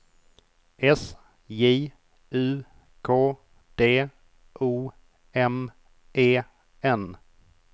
S J U K D O M E N